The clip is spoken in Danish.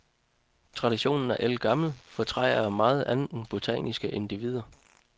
Traditionen er ældgammel, for træer er meget andet end botaniske individer.